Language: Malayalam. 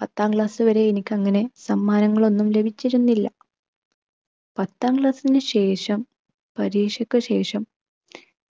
പത്താം class വരെ എനിക്കങ്ങനെ സമ്മാനങ്ങളൊന്നും ലഭിച്ചിരുന്നില്ല. പത്താം class നു ശേഷം പരീക്ഷക്ക് ശേഷം